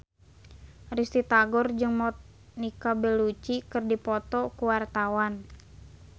Risty Tagor jeung Monica Belluci keur dipoto ku wartawan